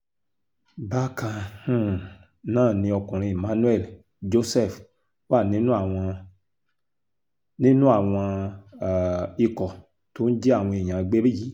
bákan um náà ni ọkùnrin emmanuel joseph wà nínú àwọn nínú àwọn um ikọ̀ tó ń jí àwọn èèyàn gbé yìí